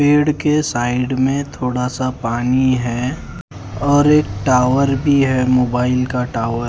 पेड़ के साइड में थोड़ा सा पानी है और एक टावर भी है मोबाइल का टावर ।